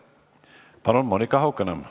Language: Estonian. Palun, Monika Haukanõmm!